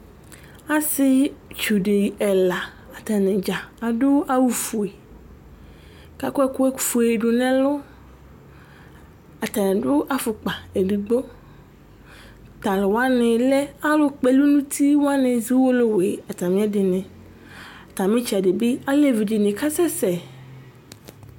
asietsu di ɛla ata ni dza adu awu fue, ku akɔ ɛku fue du nu ɛlu, ata ni adu afukpa edigbo, talu wʋani lɛ alu kpɔ ɛlu ni uti wʋani zɔ owolowue ata mi ɛdini ata ɛtsɛdi bi alevi dini kasɛ sɛ